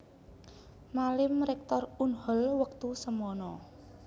Malim Rektor Unhol wektu semana